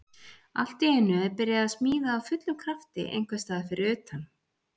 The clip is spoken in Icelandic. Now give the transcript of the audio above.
Allt í einu er byrjað að smíða af fullum krafti einhvers staðar fyrir utan.